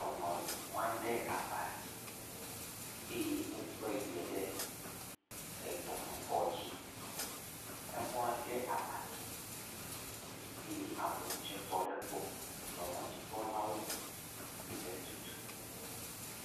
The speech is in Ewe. Dɔnɔ mlɔ anyi ɖe aba dzi eye wokɔe yie ɖe dɔnɔkɔdzi. Emlɔ anyi ɖe aba dzi eye amewo tse tɔ ɖe egbɔ. Dɔnɔdzikpɔlawo le etutum.